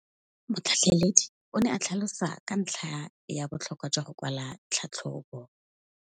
Motlhatlheledi o ne a tlhalosa ka ntlha ya botlhokwa jwa go kwala tlhatlhôbô.